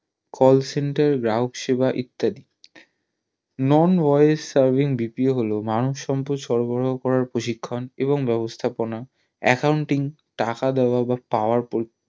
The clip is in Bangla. call centre গ্রাহকসেবা ইত্যাদি non voice servingBPO হলো মানব সম্পদ সরবরাহ করার প্রশিক্ষণ এবং ব্যাবস্থাপনা accounting টাকা দেওয়া বা power